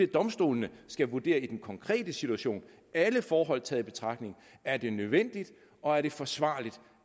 domstolene skal vurdere i den konkrete situation alle forhold taget i betragtning er det nødvendigt og er det forsvarligt